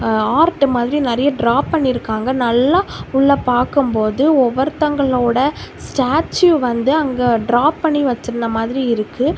Art மாதிரி நெறைய draw பண்ணி இருக்காங்க நல்லா உள்ள பாக்கும்போது ஒவ்வொரு தங்களோட ஸ்டாச்சு வந்து அங்கெ டிரா பண்ணி வெச்சிருந்த மாதிரி இருக்கு.